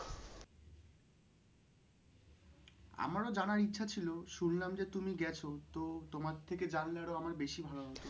আমার ও জানার ইচ্ছা ছিল শুনলাম যে তুমি গেছ। তো তোমার থেকে জানলে আরো আমার বেশী ভালো হতো ।